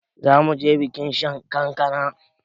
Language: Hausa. Zamuje bikin shan kankana